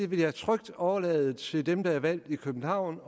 vil jeg trygt overlade til dem der er valgt i københavn